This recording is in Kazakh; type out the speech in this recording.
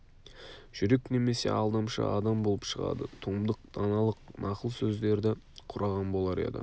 жүрек немесе алдамшы адам болып шығады томдық даналық нақыл сөздерді құраған болар еді